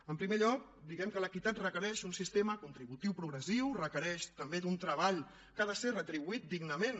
en primer lloc diguem que l’equitat requereix un sistema contributiu progressiu requereix també un treball que ha de ser retribuït dignament